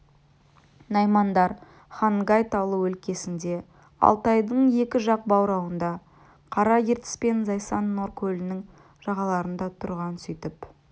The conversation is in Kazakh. наймандар хангай таулы өлкесінде алтайдың екі жақ баурайында қара ертіс пен зайсан-нор көлінің жағаларында тұрған сөйтіп